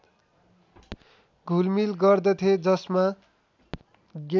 घुलमिल गर्दथे जसमा